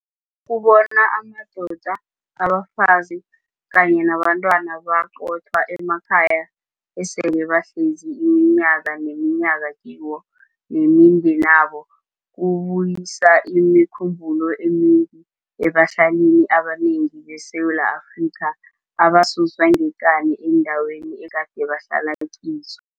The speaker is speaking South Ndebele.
Ukubona amadoda, abafazi kanye nabentwana baqothwa emakhaya esele bahlezi iminyaka ngeminyaka kiwo nemindenabo, kubuyisa imikhumbulo emimbi ebahlalini abanengi beSewula Afrika abasuswa ngekani eendaweni egade bahlala kizo.